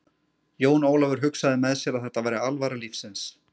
Jón Ólafur hugsaði með sér að þetta væri alvara lífsins.